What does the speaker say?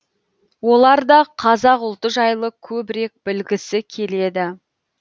олар да қазақ ұлты жайлы көбірек білгісі келеді